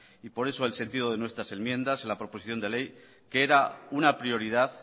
y por eso el sentido de nuestras enmiendas la proposición de ley que era una prioridad